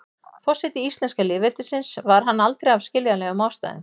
forseti íslenska lýðveldisins var hann aldrei af skiljanlegum ástæðum